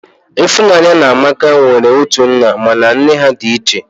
Ịfụnanya na Amaka nwere otu nna mana nne ha dị iche